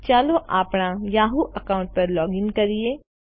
ચાલો આપણા Yahoo account પર લોગીન કરીએ